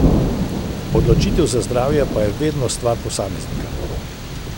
Odločitev za zdravje pa je vedno stvar posameznika.